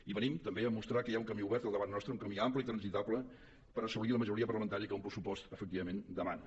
i venim també a mostrar que hi ha un camí obert davant nostre un camí ampli i transitable per assolir la majoria parlamentària que un pressupost efectivament demana